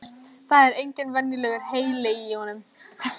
Það er engin venjulegur heili í honum.